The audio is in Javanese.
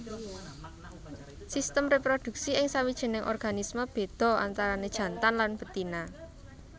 Sistem réproduksi ing sawijining organisme béda antarané jantan lan betina